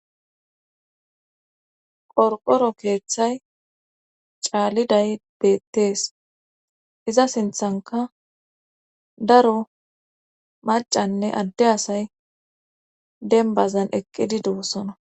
qorqoro keeththay caaliday beettees iza sinthanka daro macanne adde asay denbazan eqqidi dosona